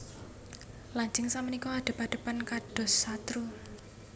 Lajeng sapunika adhep adhepan kados satru